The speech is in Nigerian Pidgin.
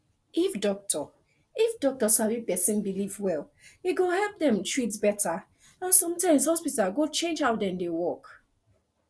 if doctor if doctor sabi person belief well e go help dem treat better and sometimes hospital go change how dem dey work